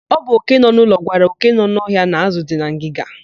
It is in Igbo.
Ọ bụ òké nọ n'ụlọ gwara òké nọ n'ọhịa na ázụ̀ dị na ngịga.